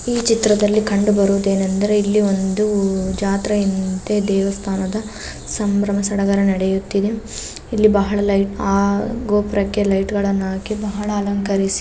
ಈ ಚಿತ್ರದ್ಲಲಿ ಕಂಡು ಬರುವುದೇನೆಂದರೆ ಇಲ್ಲಿ ಒಂದು ಜಾತ್ರೆ ಯಂತೆ ದೇವಸ್ಥಾನದ ಸಂಭ್ರಮ ಸಡಗರ ನಡಯುತದೆ ಲ್ಲೇ ಬಹಳ ಲೈಟ್ ಆ ಗೋಪುರಕೆ ಲೈಟ್ಗಳ್ನು ಹಾಕಿ ಬಹಲ್ ಅಲಂಕರಿಸಿ --